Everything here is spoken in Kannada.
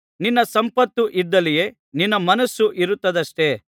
ನಿನ್ನ ಸಂಪತ್ತು ಇದ್ದಲ್ಲಿಯೇ ನಿನ್ನ ಮನಸ್ಸು ಇರುತ್ತದಷ್ಟೆ